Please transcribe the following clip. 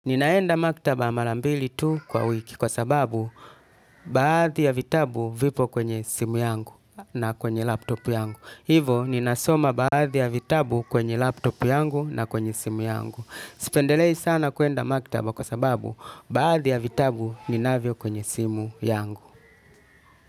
Ninaenda maktaba mara mbili tu kwa wiki kwa sababu baadhi ya vitabu vipo kwenye simu yangu na kwenye laptop yangu. Hivo ninasoma baadhi ya vitabu kwenye laptop yangu na kwenye simu yangu. Sipendelei sana kwenda maktaba kwa sababu baadhi ya vitabu ninavyo kwenye simu yangu.